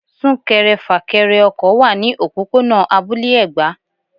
Sún-kẹrẹ-fà-kẹrẹ ọkọ̀ wá ní òpópónà abúlé Ẹ̀gbá.